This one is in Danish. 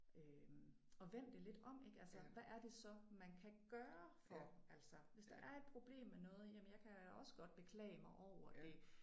Øh at vende det lidt om ik altså hvad er det så man kan gøre for altså hvis der er et problem med noget jamen jeg kan også godt beklage mig over det